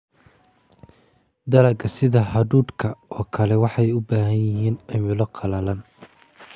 Dalagga sida hadhuudhka oo kale waxay u baahan yihiin cimilo qallalan.